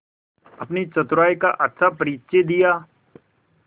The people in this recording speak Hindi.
अपनी चतुराई का अच्छा परिचय दिया